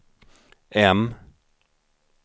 M